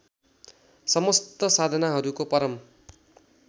समस्त साधनाहरूको परम